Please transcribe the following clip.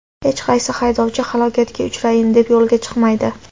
Hech qaysi haydovchi halokatga uchrayin deb yo‘lga chiqmaydi.